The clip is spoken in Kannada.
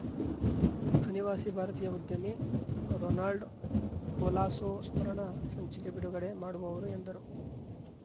ಅನಿವಾಸಿ ಭಾರತೀಯ ಉದ್ಯಮಿ ರೊನಾಲ್ಡ್‌ ಕೊಲಾಸೊ ಸ್ಮರಣ ಸಂಚಿಕೆ ಬಿಡುಗಡೆ ಮಾಡುವವರು ಎಂದರು